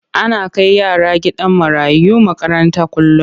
Ana kai yaran gidan marayu makaranta kullum.